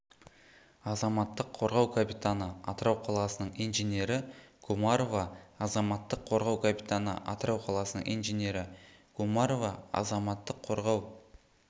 азаматтық қорғау капитаны атырау қаласының инженері гумарова азаматтық қорғау капитаны атырау қаласының инженері гумарова азаматтық қорғау